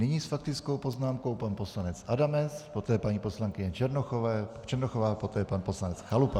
Nyní s faktickou poznámkou pan poslanec Adamec, poté paní poslankyně Černochová, poté pan poslanec Chalupa.